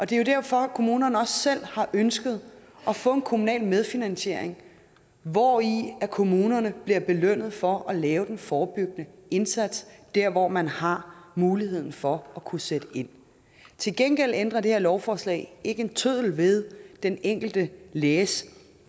det er jo derfor at kommunerne også selv har ønsket at få en kommunal medfinansiering hvori kommunerne bliver belønnet for at lave den forebyggende indsats dér hvor man har muligheden for at kunne sætte ind til gengæld ændrer det her lovforslag ikke en tøddel ved den enkelte læges